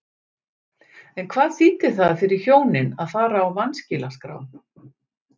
En hvað þýddi það fyrir hjónin að fara á vanskilaskrá?